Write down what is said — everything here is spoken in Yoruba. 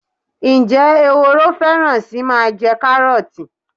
Ǹjẹ́ ehoro fẹ́ràn sí máa jẹ karoti